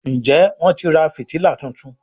Njé Wón tí rà fìtílà títún?